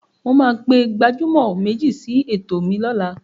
Mo máa pe gbajúmọ̀ méjì sí ètò mi lọ́la.